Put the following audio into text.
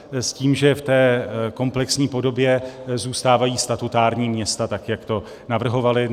S tím, že v té komplexní podobě zůstávají statutární města, tak jak to navrhovali.